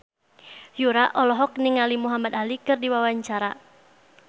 Yura olohok ningali Muhamad Ali keur diwawancara